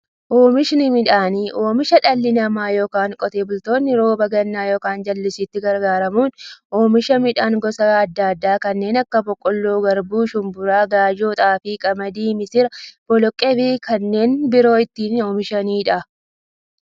Oomishni midhaanii, oomisha dhalli namaa yookiin Qotee bultoonni roba gannaa yookiin jallisiitti gargaaramuun oomisha midhaan gosa adda addaa kanneen akka; boqqoolloo, garbuu, shumburaa, gaayyoo, xaafii, qamadii, misira, boloqqeefi kanneen biroo itti oomishamiidha.